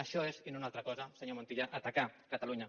això és i no una altra cosa senyor montilla atacar catalunya